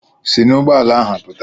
Si n'ụgbọala ahụ pụta!